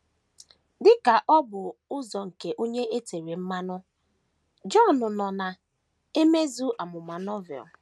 Dị ka obu ụzọ nke Onye E Tere Mmanụ, Jọn nọ na - emezu amụma Novel.